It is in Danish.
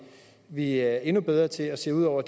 vi er endnu bedre til at se ud over